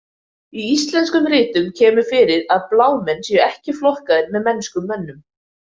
Í íslenskum ritum kemur fyrir að blámenn séu ekki flokkaðir með mennskum mönnum.